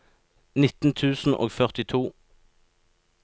nitten tusen og førtito